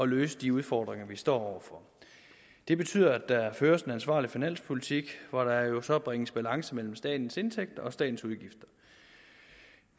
løse de udfordringer vi står over for det betyder at der føres en ansvarlig finanspolitik hvor der jo så bringes balance mellem statens indtægter og statens udgifter